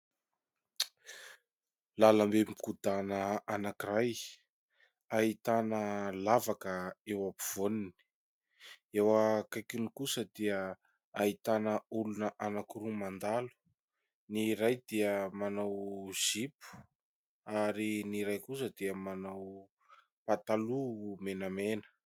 Lalam-be mikodana anakiray ahitana lavaka eo ampovoany , eo akaikiny kosa dia ahitana olona anakiroa mandalo, ny iray dia manao zipo ary ny iray kosa dia manao pataloha menamena.